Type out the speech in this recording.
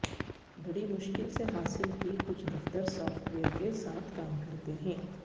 بڑی مشکل سے حاصل کی کچھ دفتر سافٹ ویئر کے ساتھ کام کرتے ہیں